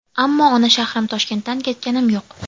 Ammo ona shahrim Toshkentdan ketganim yo‘q.